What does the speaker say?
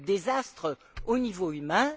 Quel désastre au niveau humain!